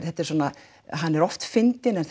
þetta er svona hann er oft fyndinn en